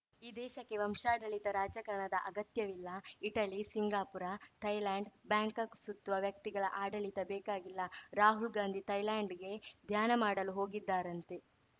ಈ ದೇಶಕ್ಕೆ ವಂಶಾಡಳಿತ ರಾಜಕಾರಣದ ಅಗತ್ಯವಿಲ್ಲ ಇಟಲಿ ಸಿಂಗಾಪುರ ಥೈಲ್ಯಾಂಡ್‌ ಬ್ಯಾಂಕಾಕ್‌ ಸುತ್ತುವ ವ್ಯಕ್ತಿಗಳ ಆಡಳಿತ ಬೇಕಾಗಿಲ್ಲ ರಾಹುಲ್‌ ಗಾಂಧಿ ಥೈಲ್ಯಾಂಡ್‌ಗೆ ಧ್ಯಾನ ಮಾಡಲು ಹೋಗಿದ್ದಾರಂತೆ